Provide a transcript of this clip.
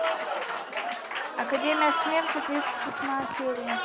академия смерти тридцать восьмая серия